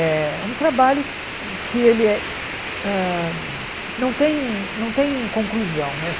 É um trabalho que que ele é hã... Não tem não tem conclusão, né?